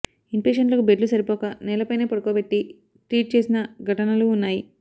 ఇన్పేషెంట్లకు బెడ్లు సరిపోక నేలపైనే పడుకోబెట్టి ట్రీట్ చేసిన ఘటనలూ ఉన్నాయి